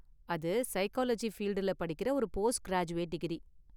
அது சைக்காலஜி ஃபீல்டுல படிக்குற ஒரு போஸ்ட் கிராஜூவேட் டிகிரி.